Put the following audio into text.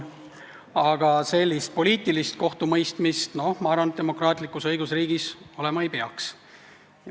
Aga sellist poliitilist kohtumõistmist, ma arvan, demokraatlikus õigusriigis olema ei peaks.